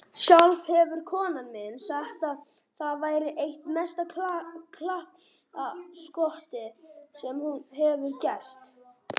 Sjálf hefur konan mín sagt að það væri eitt mesta glappaskotið sem hún hefur gert.